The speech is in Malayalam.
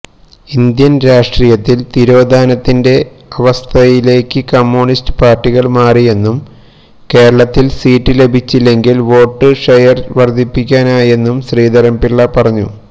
ഇന്ത്യൻ രാഷ്ട്രീയത്തിൽ തിരോധാനത്തിന്റെ അവസ്ഥയിലേക്ക് കമ്മ്യൂണിസ്റ്റ് പാർട്ടികൾ മാറിയെന്നും കേരളത്തിൽ സീറ്റ് ലഭിച്ചില്ലെങ്കിലും വോട്ട് ഷെയർ വർധിപ്പിക്കാനായെന്നും ശ്രീധരൻപിള്ള പറഞ്ഞു